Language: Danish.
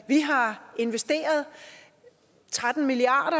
vi har investeret tretten milliard